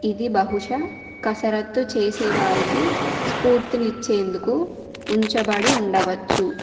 ఇది బహుశా కసరత్తు చేసే వారికి స్ఫూర్తినిచ్చేందుకు ఉంచబడి ఉండవచ్చు.